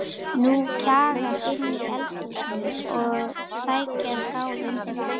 Hún kjagar inn í eldhús að sækja skál undir vatn.